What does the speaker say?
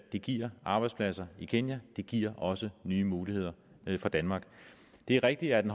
det giver arbejdspladser i kenya det giver også nye muligheder for danmark det er rigtigt at en